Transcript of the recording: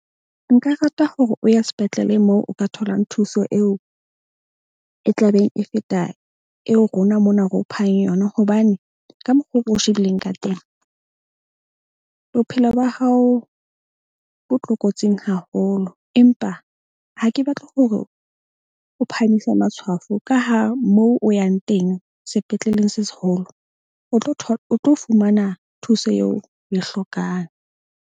Nka rata hore o ye sepetlele moo o ka tholang thuso eo e tlabeng e feta, eo rona mona re o phang yona. Hobane ka mokgwa o shebileng ka teng bophelo ba hao bo tlokotsing haholo. Empa ha ke batle hore o phamise matshwafo ka ha mo o yang teng sepetleleng se seholo, o tlo o tlo fumana thuso eo o e hlokang.